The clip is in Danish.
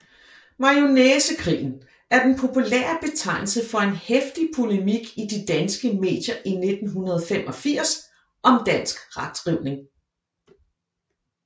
Majonæsekrigen er den populære betegnelse for en heftig polemik i de danske medier i 1985 om dansk retskrivning